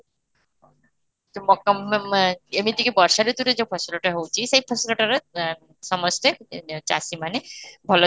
ମକା ମା ମା ଏମିତି କି ବର୍ଷ ଋତୁରେ ଯାଉ ଫସଲଟା ହଉଛି ସେଇ ଫସଲଟା ହଉଛି ସେଇ ଫସଲ ଟାରେ ଆଁ ସମସ୍ତେ ଚାଷୀମାନେ ଭଲରେ